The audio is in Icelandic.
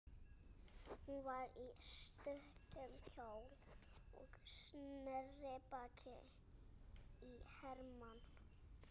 Hún var í stuttum kjól og sneri baki í Hermann.